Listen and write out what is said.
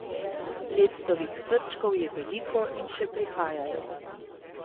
Lectovih srčkov je veliko in še prihajajo.